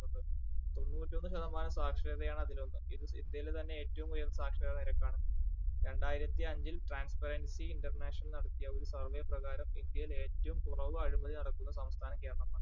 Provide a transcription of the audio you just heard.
തൊണ്ണൂറ്റൊന്ന് ശതമാനം സാക്ഷരതയാണ് അതിലൊന്ന് ഇത് ഇന്ത്യയിലെ തന്നെ ഏറ്റവും ഉയർന്ന സാക്ഷരതാ നിരക്കാണ്. രണ്ടായിരത്തിഅഞ്ചിൽ transparency international നടത്തിയ ഒരു survey പ്രകാരം ഇന്ത്യയിൽ ഏറ്റവും കുറവ് അഴിമതി നടക്കുന്ന സംസ്ഥാനം കേരളമാണ്.